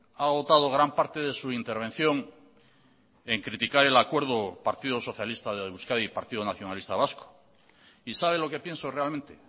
ha agotado gran parte de su intervención en criticar el acuerdo partido socialista de euskadi partido nacionalista vasco y sabe lo que pienso realmente